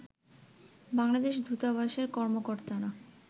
বাংলাদেশ দূতাবাসের কর্মকর্তারা